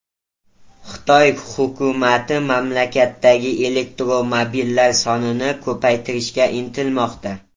Xitoy hukumati mamlakatdagi elektromobillar sonini ko‘paytirishga intilmoqda.